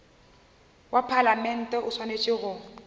wa palamente o swanetše go